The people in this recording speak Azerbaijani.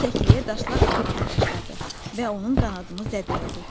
O kəkliyə daşlar atmağa başladı və onun qanadını zədələdi.